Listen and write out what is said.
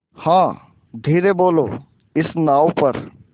हाँ धीरे बोलो इस नाव पर